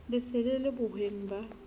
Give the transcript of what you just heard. le sele le bohweng ba